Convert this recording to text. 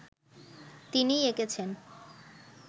তিনিই এঁকেছেন